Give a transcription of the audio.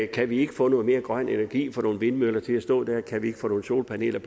kan vi ikke få noget mere grøn energi og få nogle vindmøller til at stå der kan vi ikke få nogle solpaneler